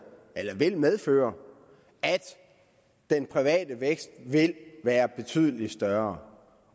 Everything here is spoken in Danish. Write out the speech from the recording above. medføre at den private vækst vil være betydelig større